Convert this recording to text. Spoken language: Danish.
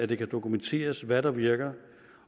det kan dokumenteres hvad der virker